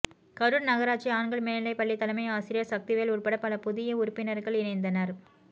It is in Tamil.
கரூர் நகராட்சி ஆண்கள் மேல்நிலைப் பள்ளி தலைமை ஆசிரியர் சக்திவேல் உட்பட பல புதிய உறுப்பினர்கள் இணைந்தனர்